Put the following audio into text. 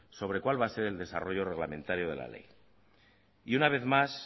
sobre cuál va a ser el desarrollo reglamentario de la ley y una vez más